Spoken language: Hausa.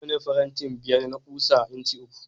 Nawane farantin biyar na kusa inci uku